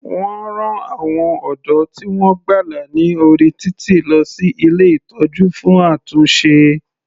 Wọ́n rán àwọn ọ̀dọ́ tí wọ́n gbàlà ní orí títì lọ sí ilé ìtọ́jú fún àtúnṣe.